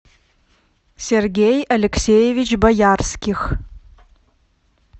сергей алексеевич боярских